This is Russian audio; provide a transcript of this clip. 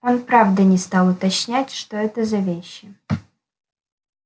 он правда не стал уточнять что это за вещи